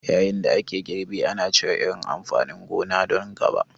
Yayin da ake girbi, ana cire irin amfanin gona don gaba.